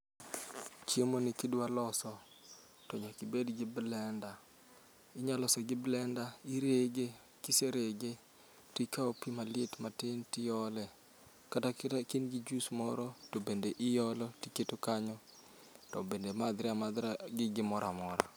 Chiemo ni kidwa loso to nyakibed gi blenda. Inya loso gi blenda, irege kiserege tikawo pi maliet matin tiole. Kata kata ka in gi juus moro, to bende iolo tiketo kanyo. To bende madhre amadhra gi morora mora.